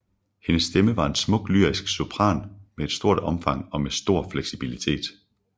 Hendes stemme var en smuk lyrisk sopran af stort omfang og med stor fleksibilitet